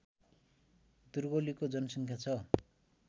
दुर्गौलीको जनसङ्ख्या छ